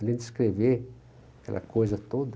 Além de escrever aquela coisa toda,